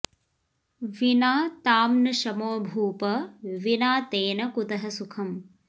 विना तां न शमो भूप विना तेन कुतः सुखम्